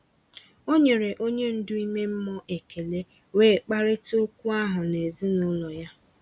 O nyere onye ndu ime mmụọ ekele, wee kparịta okwu ahụ na ezinụlọ ya.